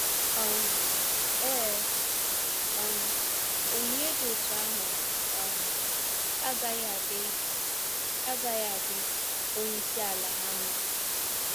um Ee, um onyinye dị otú ahụ um agaghị adị agaghị adị onyeisi ala ha mma.